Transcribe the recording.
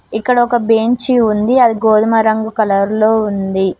ఇక్కడ ఒక బెంచి ఉంది అది గోధుమ రంగు కలర్ లో ఉంది.